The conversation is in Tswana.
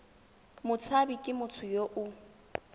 motshabi ke motho yo o